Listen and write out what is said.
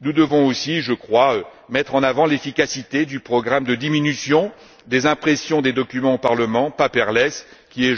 Nous devons aussi, je crois, mettre en avant l'efficacité du programme de diminution des impressions des documents au Parlement, Paperless qui est